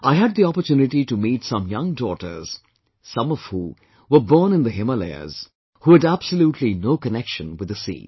I had the opportunity to meet some young daughters, some of who, were born in the Himalayas, who had absolutely no connection with the sea